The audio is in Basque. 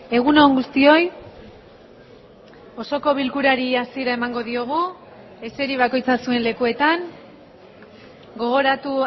egun on guztioi osoko bilkurari hasiera emango diogu eseri bakoitza zuen lekuetan gogoratu